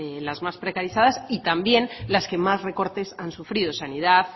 las más precarizadas y también las que más recortes han sufrido sanidad